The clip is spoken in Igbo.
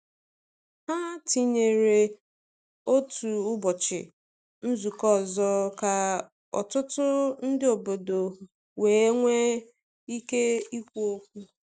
Ha tinyere otu ụbọchị nzukọ ọzọ ka ọtụtụ ndị um obodo wee nwee ike ikwu okwu.